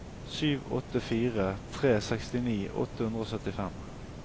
sju åtte fire tre sekstini åtte hundre og syttifem